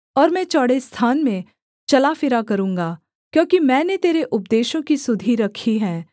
और मैं चौड़े स्थान में चला फिरा करूँगा क्योंकि मैंने तेरे उपदेशों की सुधि रखी है